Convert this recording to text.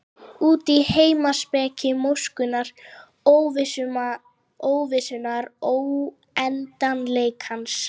Út í heimspeki móskunnar, óvissunnar, óendanleikans.